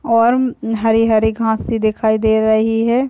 और उम हरे-हरे घासें दिखाई दे रही है।